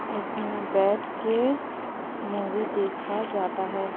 --इसमें बैठ के मूवी देखा जाता है।